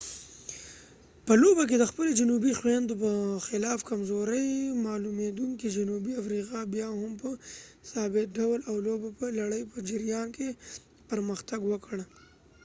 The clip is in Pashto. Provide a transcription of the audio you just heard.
په لوبه کې د خپلو جنوبي خویندو په خلاف کمزورې معلومیدونکې جنوبي افریقا بیا هم په ثابت ډول د لوبو په لړۍ په جریان کې پرمختګ وکړ